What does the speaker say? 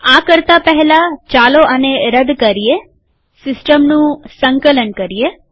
આ કરતા પહેલાચાલો આને રદ કરીએસિસ્ટમનું સંકલન કરીએ